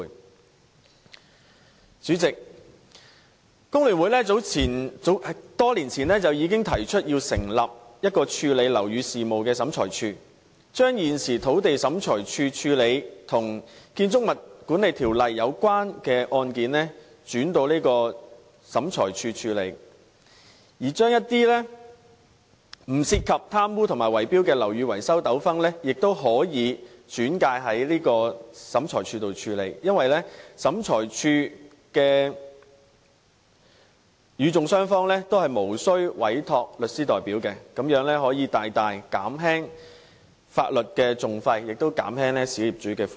代理主席，香港工會聯合會多年前已經提出成立處理樓宇事務的審裁處，將現時土地審裁處負責處理與《建築物管理條例》有關的案件，轉交這個審裁處處理，而一些不涉及貪污和圍標的樓宇維修糾紛亦可以轉介到這個審裁處處理，因為由這個審裁處處理的個案中的與訟雙方均無須委託法律代表，這樣可以大大減輕法律訟費，亦可以減輕小業主的負擔。